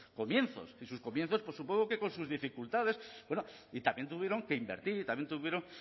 comienzos y sus comienzos supongo que con sus dificultades y también tuvieron que invertir y también tuvieron